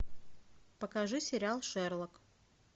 покажи сериал шерлок